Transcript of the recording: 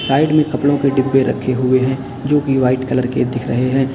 Side में कपड़ों के डब्बे रखे हुए हैं जो की वाइट कलर के दिख रहे हैं।